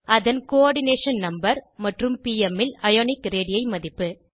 அதன் coordination number மற்றும் PM ல் அயோனிக் ரேடி மதிப்பு